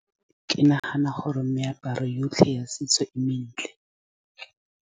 Ke nagana gore meaparo yotlhe ya setso e mentle.